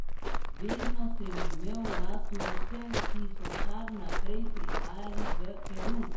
Vedno sem imel rad tujce, ki so kar naprej prihajali v Peru.